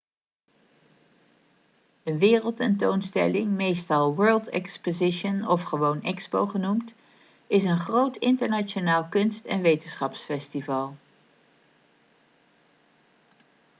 een wereldtentoonstelling meestal world exposition of gewoon expo genoemd is een groot internationaal kunst- en wetenschapsfestival